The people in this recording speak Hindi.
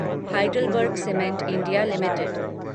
Heidelberg cement India limited